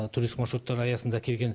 туристік маршруттар аясында келген